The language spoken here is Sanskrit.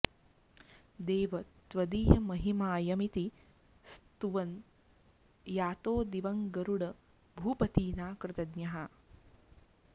देव त्वदीयमहिमायमिति स्तुवन्स यातो दिवं गरुड भूपतिना कृतज्ञः